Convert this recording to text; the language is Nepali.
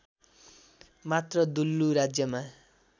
मात्र दुल्लु राज्यमा